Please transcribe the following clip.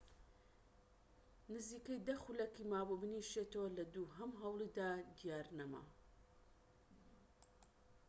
نزیکەی دە خولەکی مابوو بنیشێتەوە لە دووهەم هەوڵیدا دیار نەما